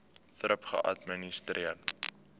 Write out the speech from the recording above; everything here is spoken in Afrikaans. thrip geadministreer